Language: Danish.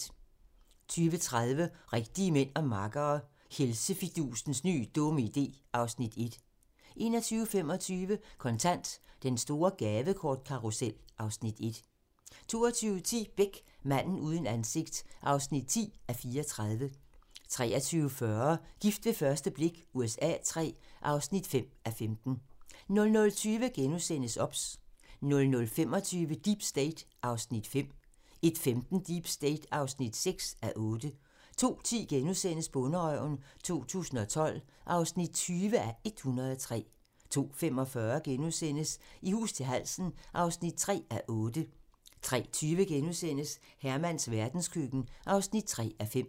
20:30: Rigtige mænd og makkere - Helsefidusens nye dumme idé (Afs. 1) 21:25: Kontant: Den store gavekortkarrusel (Afs. 1) 22:10: Beck: Manden uden ansigt (10:34) 23:40: Gift ved første blik USA III (5:15) 00:20: OBS * 00:25: Deep State (5:8) 01:15: Deep State (6:8) 02:10: Bonderøven 2012 (20:103)* 02:45: I hus til halsen (3:8)* 03:20: Hermans verdenskøkken (3:5)*